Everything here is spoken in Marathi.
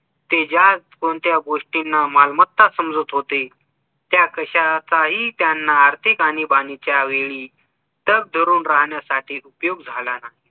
ते ज्या कोणत्या गोष्टींना मालमत्ता समजत होते त्या कशाचाही त्यांना आर्थिक आणिबाणीच्या वेळी तव धरून राहण्यासाठी उपयोग झाला नाही